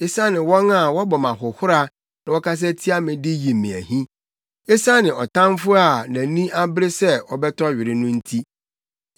esiane wɔn a wɔbɔ me ahohora na wɔkasa tia me de yi me ahi, esiane ɔtamfo a nʼani abere sɛ ɔbɛtɔ were no nti.